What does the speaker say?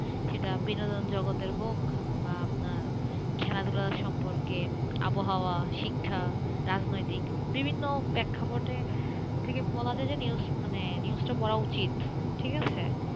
সেটা বিনোদন জগতের হোক বা আপনার খেলাধুলা সম্পর্কে, আবহাওয়া, শিক্ষা, রাজনৈতিক বিভিন্ন প্রেক্ষাপট থেকে বলা যায় যে, news তা পড়া উচিত,